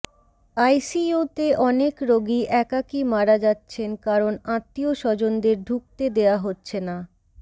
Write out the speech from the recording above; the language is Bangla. আইসিইউতে অনেক রোগী একাকী মারা যাচ্ছেন কারণ আত্মীয় স্বজনদের ঢুকতে দেয়া হচ্ছে না